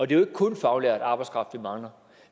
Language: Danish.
det jo ikke kun faglært arbejdskraft vi mangler